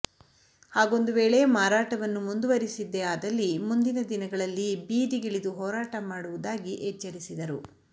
ಹಾಗೊಂದು ವೇಳೆ ಮಾರಾಟವನ್ನು ಮುಂದುವರೆಸಿದ್ದೇ ಆದಲ್ಲಿ ಮುಂದಿನ ದಿನಗಳಲ್ಲಿ ಬೀದಿಗಿಳಿದು ಹೋರಾಟ ಮಾಡುವುದಾಗಿ ಎಚ್ಚರಿಸಿದರು